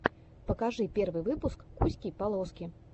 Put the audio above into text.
покажи первый выпуск куськи полоски